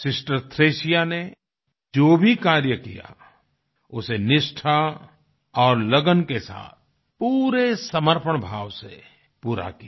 sister Thresia ने जो भी कार्य किया उसे निष्ठा और लगन के साथ पूरे समर्पण भाव से पूरा किया